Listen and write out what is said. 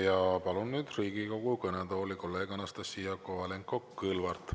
Ja palun nüüd Riigikogu kõnetooli kolleeg Anastassia Kovalenko-Kõlvarti.